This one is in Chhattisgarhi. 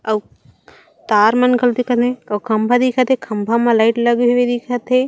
अउ तार मन घलो दिखत हे अउ खम्भा दिखत हे खम्भा म लाइट लगे हेवे दिखत हे।